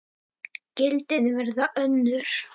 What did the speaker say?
Gildin verða önnur.